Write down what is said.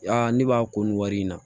ne b'a ko nin wari in na